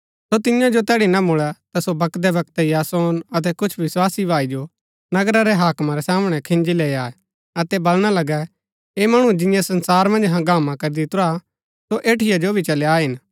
सो तियां जो तैड़ी ना मुळै ता सो बकदै बकदै यासोन अतै कुछ विस्वासी भाई जो नगरा रै हाकमा रै सामणै खिन्जी लैई आये अतै बलणा लगै ऐह मणु जिन्यैं संसार मन्ज हंगामा करी दितुरा सो ऐठीआ जो भी चली आये हिन